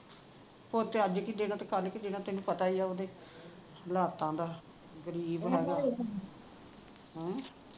ਅੱਜ ਕਿ ਦੇਣਾ ਤੇ ਕੱਲ ਕੇ ਦੇਣਾ ਤੈਨੂੰ ਪਤਾ ਈ ਆ ਓਹਦੇ ਹਾਲਾਤਾਂ ਦਾ ਗਰੀਬ ਹੈਗਾ ਹੂੰ